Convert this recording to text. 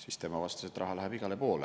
siis tema vastas, et raha läheb igale poole.